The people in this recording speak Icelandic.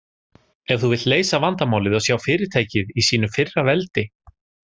Ef þú vilt leysa vandamálið og sjá fyrirtækið í sínu fyrra veldi?